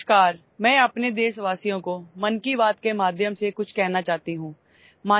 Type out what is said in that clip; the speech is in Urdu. ''نمسکار! میں 'من کی بات' کے ذریعے اپنے ہم وطنوں سے کچھ کہنا چاہتی ہوں